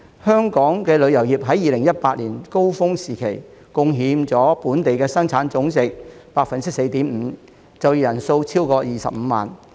香港旅遊業在2018年高峰時期，貢獻了本地生產總值 4.5%， 就業人數超過25萬。